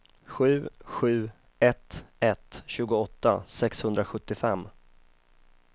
sju sju ett ett tjugoåtta sexhundrasjuttiofem